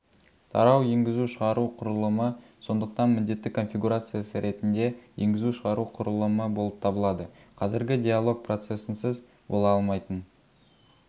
тарау еңгізушығару құрылымы сондықтан міндетті конфигурациясы ретінде енгізу-шығару құрылымы болып табылады қазіргі диалог процесінсіз бола алмайтын